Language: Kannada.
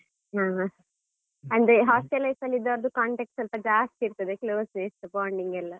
ಹೂಂ ಅಂದ್ರೆ hostel life ಅಲ್ಲಿ ಇದ್ದವ್ರದ್ದು contacts ಸ್ವಲ್ಪ ಜಾಸ್ತಿ ಇರ್ತದೆ, close bonding ಎಲ್ಲಾ.